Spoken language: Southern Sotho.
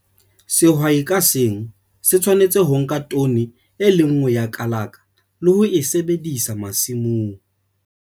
Sehwai ka seng se tshwanetse ho nka tone e le nngwe ya kalaka le ho e sebedisa masimong.